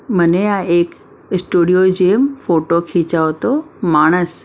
મને આ એક સ્ટુડિયો જેમ ફોટો ખીચાવતો માણસ --